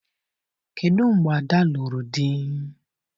Kedụ mgbe Ada lụrụ di?